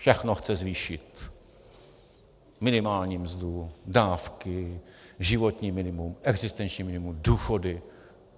Všechno chce zvýšit, minimální mzdu, dávky, životní minimum, existenční minimum, důchody.